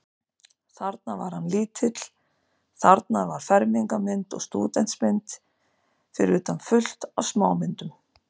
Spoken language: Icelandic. Þarna var hann lítill, þarna var fermingarmynd og stúdentsmynd, fyrir utan fullt af smámyndum.